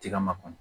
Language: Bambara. Tiga ma kɔnɔ